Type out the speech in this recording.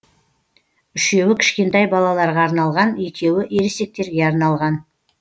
үшеуі кішкентай балаларға арналған екеуі ересектерге арналған